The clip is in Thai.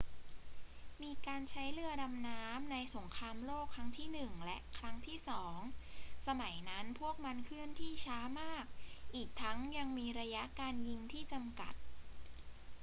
มีการใช้เรือดำน้ำในสงครามโลกครั้งที่หนึ่งและครั้งที่สอง สมัยนั้นพวกมันเคลื่อนที่ช้ามาก อีกทั้งยังมีระยะการยิงที่จำกัด